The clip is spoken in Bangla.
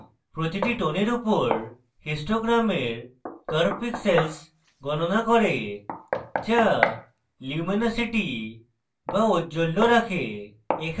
প্রতিটি টোনের উপর histogram curve pixel গণনা করে the luminosity the ঔজ্জ্বল্য রাখে